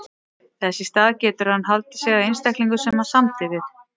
Þess í stað getur hann haldið sig að þeim einstaklingum sem hann samdi við.